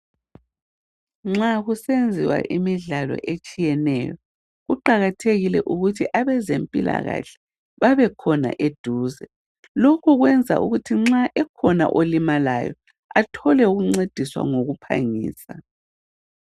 Nxa kusenziwa imidlalo etshiyeneyo kuqakathekile ukuthi abezempilakahle babekhona eduze, lokhu kwenza ukuthi nxa ekhona olimalayo athole ukuncediswa ngokuphangisa.